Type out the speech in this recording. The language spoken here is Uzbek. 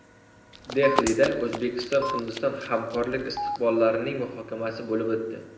Dehlida O‘zbekiston–Hindiston hamkorlik istiqbollarining muhokamasi bo‘lib o‘tdi.